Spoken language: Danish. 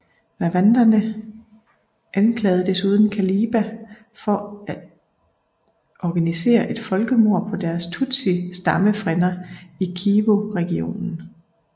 Rwanderne anklagede desuden Kabila for at organisere et folkemord på deres tutsi stammefrænder i Kivuregionen